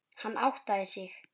Hann áttaði sig.